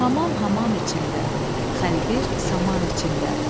Hamam hamam içində, xəlbir saman içində.